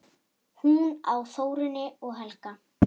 Hún á Þórunni og Helga.